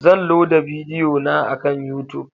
Zan loda bidiyo na akan YouTube.